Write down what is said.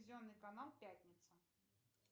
телевизионный канал пятница